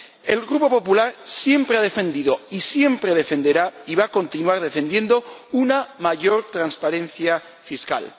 El Grupo PPE siempre ha defendido, siempre defenderá y va a continuar defendiendo una mayor transparencia fiscal.